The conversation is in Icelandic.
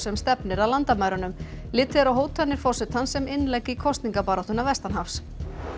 sem stefnir að landamærunum litið er á hótanir forsetans sem innlegg í kosningabaráttuna vestanhafs